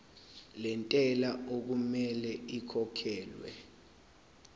lentela okumele ikhokhekhelwe